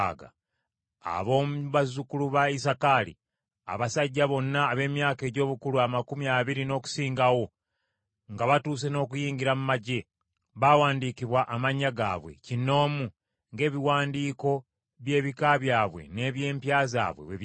Ab’omu bazzukulu ba Isakaali: Abasajja bonna ab’emyaka egy’obukulu amakumi abiri n’okusingawo, nga batuuse n’okuyingira mu magye, baawandiikibwa amannya gaabwe, kinnoomu, ng’ebiwandiiko by’ebika byabwe n’eby’empya zaabwe bwe byali.